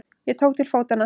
Ég tók til fótanna.